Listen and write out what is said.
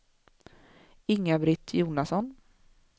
Inga-Britt Jonasson